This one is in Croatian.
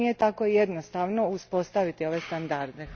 Zato nije tako jednostavno uspostaviti ove standarde.